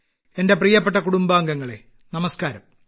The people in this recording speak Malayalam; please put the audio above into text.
എന്റെ പ്രിയപ്പെട്ട കുടുംബാംഗങ്ങളെ നമസ്കാരം